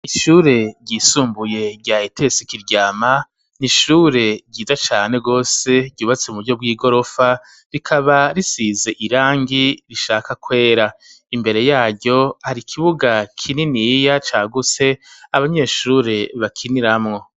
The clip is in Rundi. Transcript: Ishure ryisumbuye rya "ETS" Kiryama, ni ishure ryiza cane gose ryubatse mu bryo bw'igorofa, rikaba risize irangi rishaka kwera; imbere yaryo hari ikibuga kininiya cagutse, abanyeshure bakiniramwo.